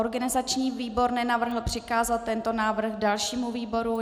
Organizační výbor nenavrhl přikázat tento návrh dalšímu výboru.